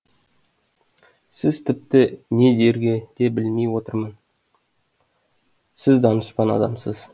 сіз тіпті не дерге де білмей отырмын сіз данышпан адамсыз